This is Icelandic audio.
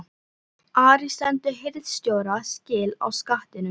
ARI STENDUR HIRÐSTJÓRA SKIL Á SKATTINUM